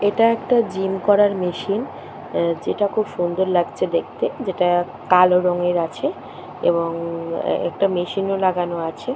এটা একটা জিম করার মেশিন আ যেটা খুব সুন্দর লাগছে দেখতে যেটা-আ কালো রঙের আছে এবং আ একটা মেশিন -ও লাগানো আছে।